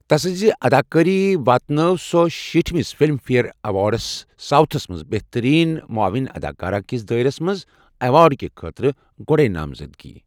تسٕنٛزِ اداکٲری واتنٲو سۅ شیٖٹھ مِس فلم فییر ایوارڈز ساوتھس منٛز بہترین معاون اداکارہ کِس دٲیرس منٛز ایوارڈ کہِ خٲطرٕ گۅڈے نامزدگی ۔